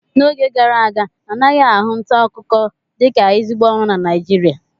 N'oge gara aga anaghị ahụ nta akụkọ dịka ezigbo ọrụ na Naịjirịa